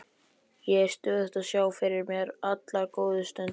Ég er stöðugt að sjá fyrir mér allar góðu stundirnar.